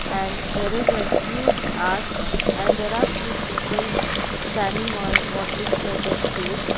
and there is a huge arch and there are few people standing on what looks like a stage.